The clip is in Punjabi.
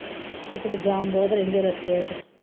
ਇੱਕ ਤੇ ਜਾਮ ਬਹੁਤ ਰਹਿੰਦੇ ਰਸਤਿਆਂ ਚ।